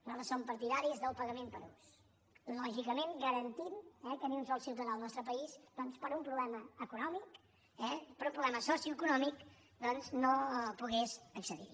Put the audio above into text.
nosaltres som partidaris del pagament per ús lògicament garantint que ni un sol ciutadà al nostre país doncs per un problema econòmic per un problema socioeconòmic no pogués accedir hi